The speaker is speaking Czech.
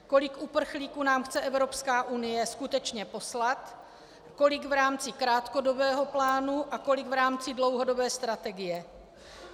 Kolik uprchlíků nám chce Evropská unie skutečně poslat, kolik v rámci krátkodobého plánu a kolik v rámci dlouhodobé strategie.